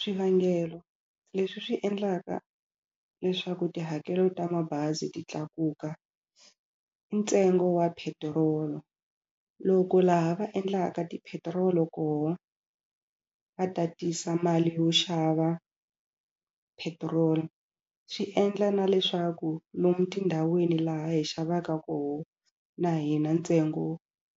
Swivangelo leswi swi endlaka leswaku tihakelo ta mabazi ti tlakuka i ntsengo wa petirolo. Loko laha va endlaka tipetirolo koho va tatisa mali yo xava petrol swi endla na leswaku lomu tindhawini laha hi xavaka kona na hina ntsengo